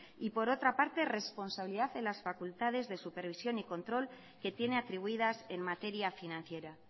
y por otra parte responsabilidad en las facultades de supervisión y control que tiene atribuidas en materia financiera